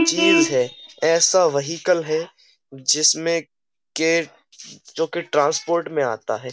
चीज है ऐसा वहीकल है जिसमें के जो कि ट्रांसपोर्ट में आता है।